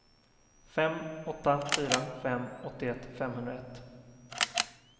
fem åtta fyra fem åttioett femhundraett